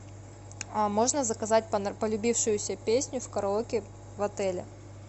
а можно заказать полюбившуюся песню в караоке в отеле